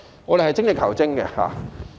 我們應該精益求精。